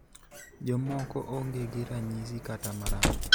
Jomoko onge gi ranyisi kata marach.